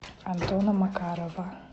антона макарова